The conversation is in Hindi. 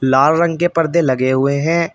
लाल रंग के परदे लगे हुए हैं।